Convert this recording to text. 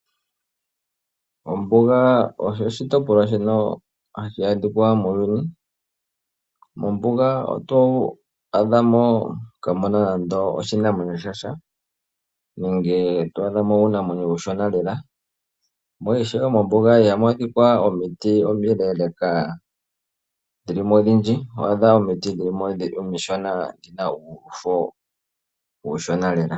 Ombuga osho oshitopolwa shono hashi adhika muuyuni, mombuga oto adhamo kaamuna nando oshinamwenyo shasha nenge twaadhamo uunamwenyo uushona lela mo ishewe mombuga ihamu adhika omiti omileleka dhili mo odhindji, ohamu adhika omiti omishona dhina uufo uushona lela.